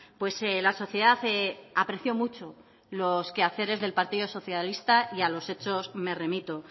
pues la sociedad apreció mucho los quehaceres del partido socialista y a los hechos me remito